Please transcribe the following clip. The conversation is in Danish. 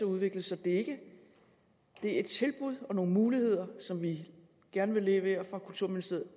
udvikle så det er et tilbud og nogle muligheder som vi gerne vil levere fra kulturministeriet